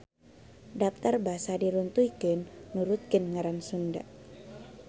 Daptar basa diruntuykeun nurutkeun ngaran Sunda.